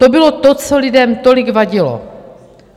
To bylo to, co lidem tolik vadilo.